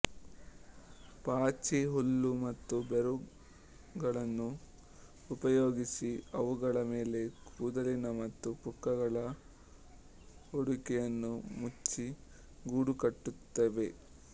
ಪಾಚಿ ಹುಲ್ಲು ಮತ್ತು ಬೇರುಗಳನ್ನು ಉಪಯೋಗಿಸಿ ಅವುಗಳ ಮೇಲೆ ಕೂದಲಿನ ಮತ್ತು ಪುಕ್ಕಗಳ ಹೊದಿಕೆಯನ್ನು ಮುಚ್ಚಿ ಗೂಡು ಕಟ್ಟುತ್ತವೆ